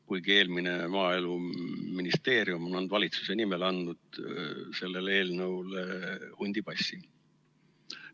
Kuigi Maaeluministeerium on eelmise valitsuse nimel andnud sellele eelnõule hundipassi.